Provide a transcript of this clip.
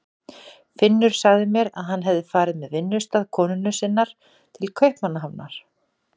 Finnur sagði mér að hann hefði farið með vinnustað konunnar sinnar til Kaupmannahafnar.